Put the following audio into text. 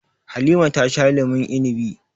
Halima ta sha lemun inibi.